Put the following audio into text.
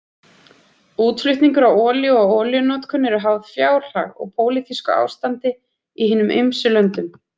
Útflutningur á olíu og olíunotkun eru háð fjárhag og pólitísku ástandi í hinum ýmsu löndum.